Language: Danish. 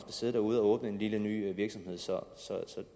sidde derude og åbne en lille ny virksomhed så